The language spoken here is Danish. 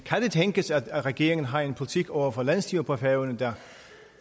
tænkes at regeringen har en politik over for landsstyret på færøerne der